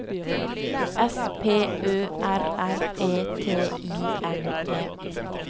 S P Ø R R E T I M E